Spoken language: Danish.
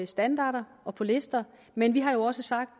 standarder og på lister men vi har jo også sagt